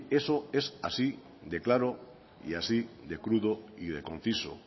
eso es así de claro y así de crudo y de conciso